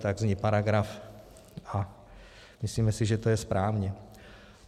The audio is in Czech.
Tak zní paragraf a myslíme si, že to je správně.